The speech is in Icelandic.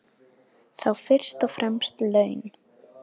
Þá fyrst og fremst laun.